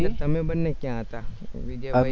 તમે બન્ને ક્યા હતા? વિજયભાઈ